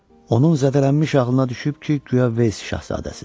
Onun zədələnmiş ağlına düşüb ki, guya Vels şahzadəsidir.